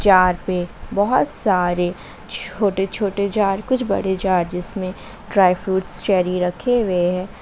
ताड़ पे बहुत सारे छोटे छोटे जार कुछ बड़े जार जिसमे ड्राई फ्रूट्स चैरी रखे हुए हैं।